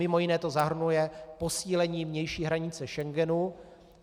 Mimo jiné to zahrnuje posílení vnější hranice Schengenu.